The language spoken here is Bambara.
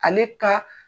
Ale ka